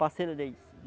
Parceiro deles.